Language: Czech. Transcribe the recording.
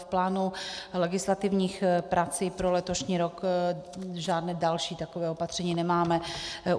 V plánu legislativních prací pro letošní rok žádná další taková opatření nemáme.